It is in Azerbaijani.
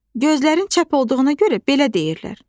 Gözlərin çəp olduğuna görə belə deyirlər.